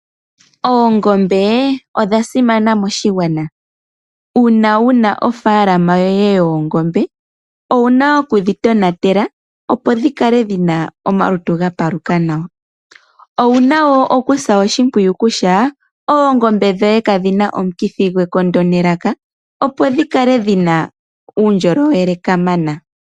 Oongombe odha simana moshigwana. Uuna wu na ofaalama yoye yoongombe owu na oku dhi tonatela opo dhi kale dhi na omalutu ga paluka nawa. Owu na woo okusa oshimpwiyu kutya kadhi na omukithi gwekondo nelaka opo dhi kale dhi na uundjolowele kamana.